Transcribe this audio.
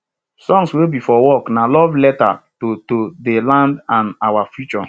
songs wey be for work na love letters to to de land and our future